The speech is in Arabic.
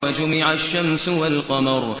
وَجُمِعَ الشَّمْسُ وَالْقَمَرُ